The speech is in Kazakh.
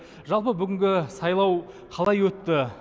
жалпы бүгінгі сайлау қалай өтті